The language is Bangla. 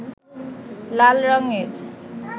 লাল রঙ-এর